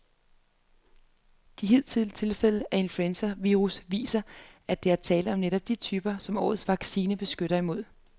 De hidtidige tilfælde af influenzavirus viser, at der er tale om netop de typer, som årets vaccine beskytter imod.